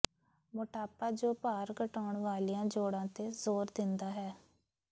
ਮੋਟਾਪਾ ਜੋ ਭਾਰ ਘਟਾਉਣ ਵਾਲੀਆਂ ਜੋੜਾਂ ਤੇ ਜ਼ੋਰ ਦਿੰਦਾ ਹੈ